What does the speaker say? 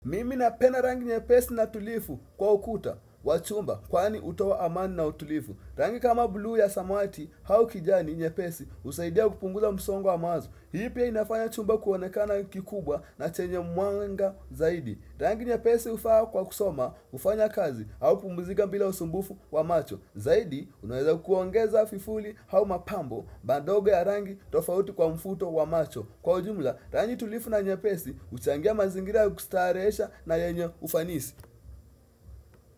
Mimi napenda rangi nye pesi na tulifu kwa ukuta, wa chumba, kwani hutoa amani na utulifu Rangi kama buluu ya samawati auki jani nye pesi husaidia kupunguza msongo wa mawazo Hiipia inafanya chumba kuonekana kikubwa na chenye mwanga zaidi Rangi nye pesi hufaa kwa kusoma kufanya kazi au kupumzika bila usumbufu wa macho Zaidi unweza kuongeza fifuli au mapambo madogo ya rangi tofauti kwa mfuto wa macho Kwa ujumla, rangi tulifu na nye pesi, huchangia mazingira ya kustarehesha na yenye ufanisi.